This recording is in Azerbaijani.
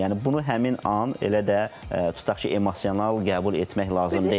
Yəni bunu həmin an elə də tutaq ki, emosional qəbul etmək lazım deyil.